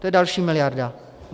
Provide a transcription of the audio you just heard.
To je další miliarda.